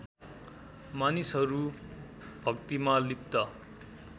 मानिसहरू भक्तिमा लिप्त